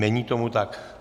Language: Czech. Není tomu tak.